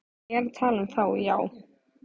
Ég er að tala um þá, já.